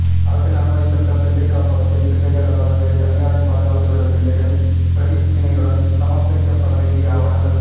அரசின் அனுமதிப்பெற்ற பிள்ளை காப்பகத்தின் பிள்ளைகள் அல்லாத வேறு தனியாரின் பாதுகாப்பில் உள்ள பிள்ளைகள் பிரதிக்கினையுடன் சமர்ப்பிக்கப்படவேண்டிய ஆவணங்கள்